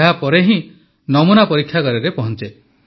ଏହାପରେ ହିଁ ନମୁନା ପରୀକ୍ଷାଗାରରେ ପହଞ୍ଚେ